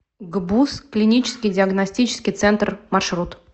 гбуз клинический диагностический центр маршрут